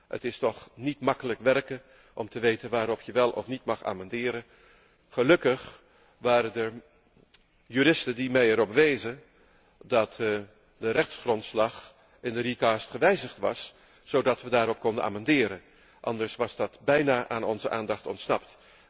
Het is niet makkelijk om te weten waarop je wel of niet mag amenderen. Gelukkig waren er juristen die mij erop wezen dat de rechtsgrondslag in de herschikking gewijzigd was zodat we daarop konden amenderen, anders was dat bijna aan onze aandacht ontsnapt.